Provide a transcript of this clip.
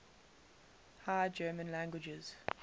high german languages